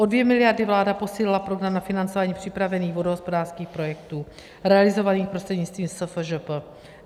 O 2 miliardy vláda posílila program na financování připravených vodohospodářských projektů realizovaných prostřednictvím SFŽP.